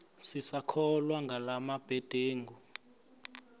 sisakholwa ngala mabedengu